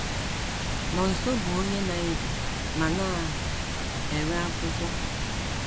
Nonso bụ onye na - ebi ma na - ere akwụkwọ.